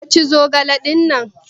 Kin ci zogale dinnan?